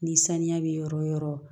Ni sanuya bɛ yɔrɔ yɔrɔ